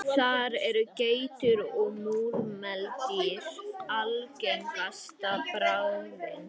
Þar eru geitur og múrmeldýr algengasta bráðin.